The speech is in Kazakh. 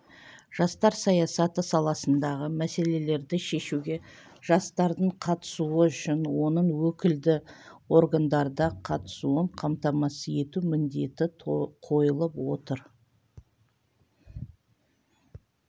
жастар саясаты саласындағы мәселелерді шешуге жастардың қатысуы үшін оның өкілді органдарда қатысуын қамтамасыз ету міндеті қойылып отыр